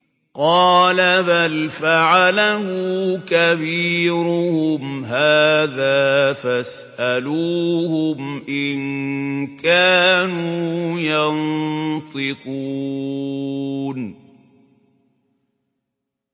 قَالَ بَلْ فَعَلَهُ كَبِيرُهُمْ هَٰذَا فَاسْأَلُوهُمْ إِن كَانُوا يَنطِقُونَ